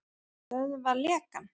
Stöðva lekann.